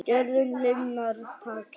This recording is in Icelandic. Gjörðin linar takið.